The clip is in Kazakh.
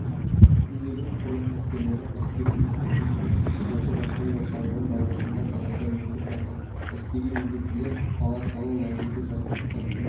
жиын құрлық әскерлері әскери институтының оқу-жаттығу орталығының базасында далада өтіп жатыр әскери міндеттілер палаткалы лагерьге жайғасты